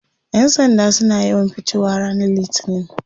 Yan sanda suna yawan fitowa ranar litinin.